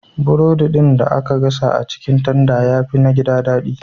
Burodi ɗin da aka gasa a cikin tanda ya fi na gida daɗi.